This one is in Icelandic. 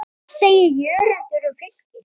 Hvað segir Jörundur um Fylki?